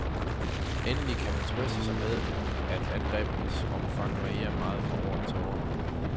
Endelig kan man trøste sig med, at angrebenes omfang varierer meget fra år til år.